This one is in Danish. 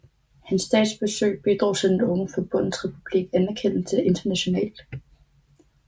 Hans statsbesøg bidrog til den unge Forbundsrepubliks anerkendelse internationalt